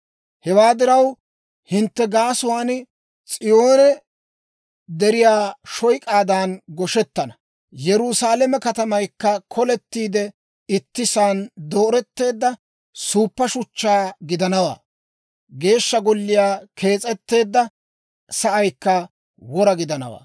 Hewaa diraw, hintte gaasuwaan S'iyoone deriyaa shoyk'aadan goshettana; Yerusaalame katamaykka kolettiide ittisaan dooretteedda suuppa shuchchaa gidanawaa. Geeshsha Golliyaa kees'etteedda sa'aykka wora gidanawaa.